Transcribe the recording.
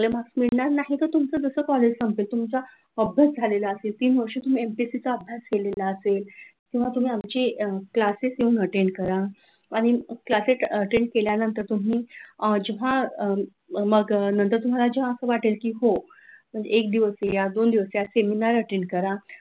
किंवा तुम्ही आमचे क्लासेस अटेंड करा! आणि क्लासेस अटेंड केल्यानंतर तुम्ही जेव्हा मग नंतर जेव्हा तुम्हाला वाटेल की हो एक दिवस या, दोन दिवस या सेमिनार अटेंड करा,